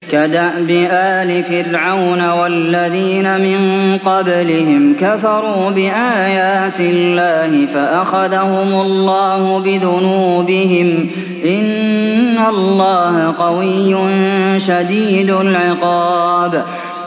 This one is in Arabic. كَدَأْبِ آلِ فِرْعَوْنَ ۙ وَالَّذِينَ مِن قَبْلِهِمْ ۚ كَفَرُوا بِآيَاتِ اللَّهِ فَأَخَذَهُمُ اللَّهُ بِذُنُوبِهِمْ ۗ إِنَّ اللَّهَ قَوِيٌّ شَدِيدُ الْعِقَابِ